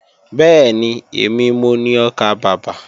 Bẹ́ẹ̀ni, èmi mo ni ọkàbàbà